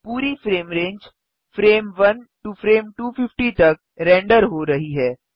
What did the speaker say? पूरी frame range frame 1 to frame 250 तक render हो रही है